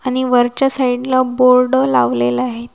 आणि वरच्या साईडला बोर्ड लावलेलं आहे.